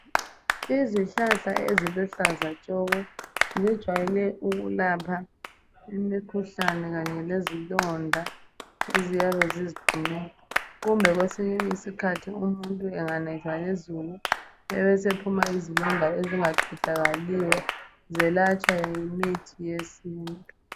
izihlahla eziluhlaza tshoko zijwayele ukulapha imikhuhlane kanye lezilonda eziyabe ziziphumela kumbe kwesinye isikhathi umuntu enganethwa lizulu ebesephuma izilonda ezinga qedakaliyo zelatshwa yimithi yesintu